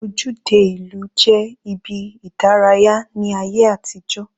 Ojúde ìlú jẹ́ ibi ìdárayá ní ayé àtijó.